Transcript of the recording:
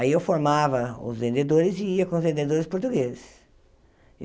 Aí eu formava os vendedores e ia com os vendedores portugueses.